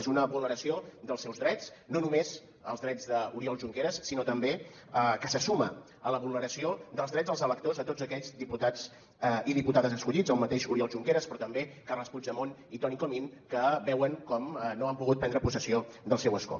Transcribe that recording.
és una vulneració dels seus drets no només els drets d’oriol junqueras sinó també que se suma a la vulneració dels drets dels electors de tots aquells diputats i diputades escollits el mateix oriol junqueras però també carles puigdemont i toni comín que veuen com no han pogut prendre possessió del seu escó